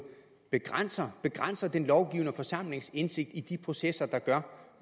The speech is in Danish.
begrænser den lovgivende forsamlings indsigt i de processer der